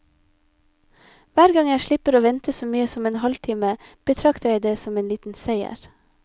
Hver gang jeg slipper å vente så mye som en halvtime, betrakter jeg som en liten seier.